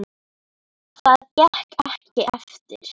Það gekk ekki eftir.